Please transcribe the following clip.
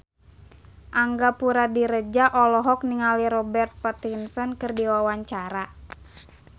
Angga Puradiredja olohok ningali Robert Pattinson keur diwawancara